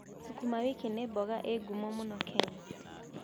Sukuma wiki nĩ mboga ĩĩ ngumo mũno Kenya.